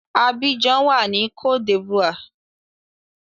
Abidjan wà ní cote d'Ivoire.